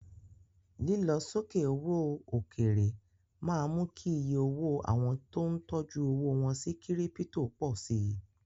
Lílọ sókè owó òkèèrè máa ń mú kí iye owó àwọn tó ń tọjú owó wọ́n sí Kírípítò pọ̀ si.